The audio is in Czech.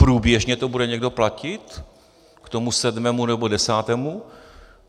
Průběžně to bude někdo platit k tomu sedmému nebo desátému?